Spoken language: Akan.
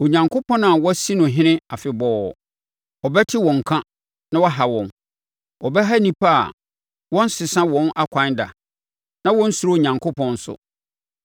Onyankopɔn a wɔasi no ɔhene afebɔɔ no, ɔbɛte wɔn nka na waha wɔn, ɔbɛha nnipa a wɔnsesa wɔn akwan da na wɔnsuro Onyankopɔn nso.